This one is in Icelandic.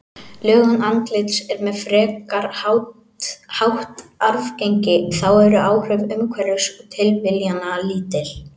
Lögun andlits er með frekar hátt arfgengi, þá eru áhrif umhverfis og tilviljana lítil.